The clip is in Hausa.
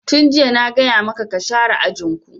Tun jiya na gaya maka ka share ajin ku!